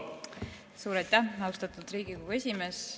Suur aitäh, austatud Riigikogu esimees!